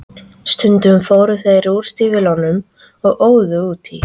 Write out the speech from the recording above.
Og stundum fóru þeir úr stígvélunum og óðu út í.